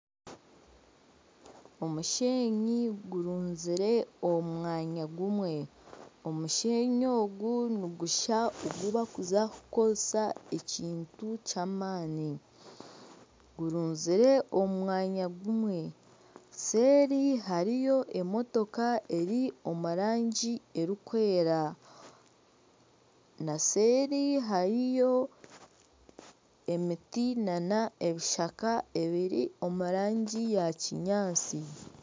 Omushenyi gurunzire omu mwanya gumwe. Omushenyi ogu nigushusha ogubarikuza kukozesa ekintu ky'amani gurunzire omu mwanya gumwe . Seeri hariyo emotoka eri omu rangi erikwera na seeri hariyo emiti nana ebishaka ebiri omu rangi ya kinyaantsi.